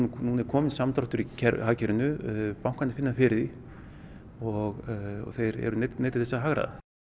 núna er kominn samdráttur í hagkerfinu bankarnir finna fyrir því og þeir eru neyddir til þess að hagræða